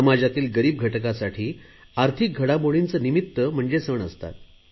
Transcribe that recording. समाजातील गरीब घटकासाठी आर्थिक घडामोडींचे निमित्त म्हणजे सण असतात